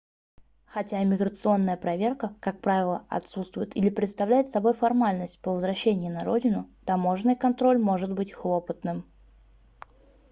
хотя иммиграционная проверка как правило отсутствует или представляет собой формальность по возвращении на родину таможенный контроль может быть хлопотным